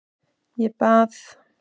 Ég bað